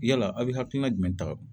Yala aw bɛ hakilina jumɛn ta